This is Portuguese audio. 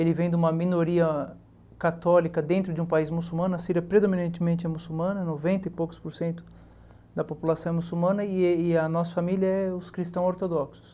Ele vem de uma minoria católica dentro de um país muçulmano, a Síria predominantemente é muçulmana, noventa e poucos por cento da população é muçulmana e ele a nossa família é os cristãos ortodoxos.